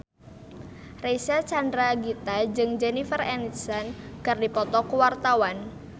Reysa Chandragitta jeung Jennifer Aniston keur dipoto ku wartawan